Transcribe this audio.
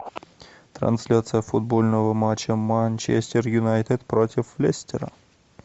трансляция футбольного матча манчестер юнайтед против лестера